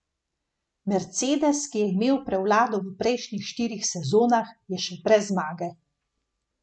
Mercedes, ki je imel prevlado v prejšnjih štirih sezonah, je še brez zmage.